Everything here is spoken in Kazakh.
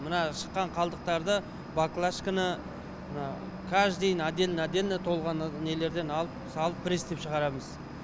мына шыққан қалдықтарды баклашкіні мына каждыйын отдельно отдельно толған нелерден алып салып пресстеп шығарамыз